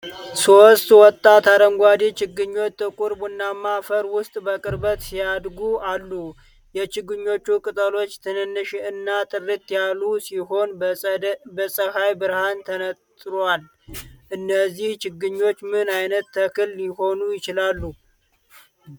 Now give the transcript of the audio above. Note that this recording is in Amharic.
ሶስት ወጣት አረንጓዴ ችግኞች ጥቁር ቡናማ አፈር ውስጥ በቅርበት ሲያድጉ አሉ። የችግኞቹ ቅጠሎች ትንንሽ እና ጥርት ያሉ ሲሆን፣ በፀሐይ ብርሃን ተነጥሯል፤ እነዚህ ችግኞች ምን ዓይነት ተክል ሊሆኑ ይችላሉ?